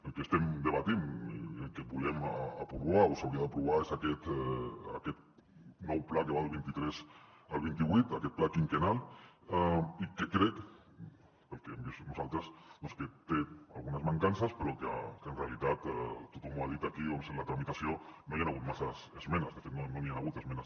el que estem debatent i el que volem aprovar o s’hauria d’aprovar és aquest nou pla que va del vint tres al vint vuit aquest pla quinquennal i que crec pel que hem vist nosaltres doncs que té algunes mancances però que en realitat tothom ho ha dit aquí en la tramitació no hi han hagut masses esmenes de fet no n’hi han hagut d’esmenes